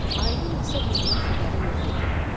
Ayının isə bundan xəbəri yox idi.